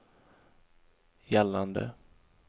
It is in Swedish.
gällande